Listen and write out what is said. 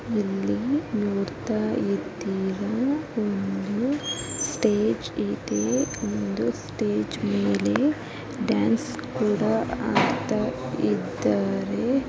Stage ಇದೆ. Stage ಮೇಲೆ dance ಕೂಡ ಮಾಡ್ತಾ ಇದ್ದಾರೆ.